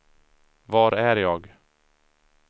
var är jag